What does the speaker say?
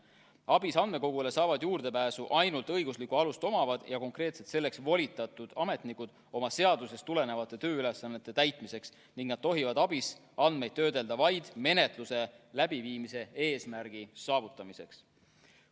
ABIS-e andmekogule saavad juurdepääsu ainult õiguslikku alust omavad ja konkreetselt selleks volitatud ametnikud oma seadusest tulenevate tööülesannete täitmiseks ning nad tohivad ABIS-es olevaid andmeid töödelda vaid menetluse läbiviimise eesmärgi saavutamiseks.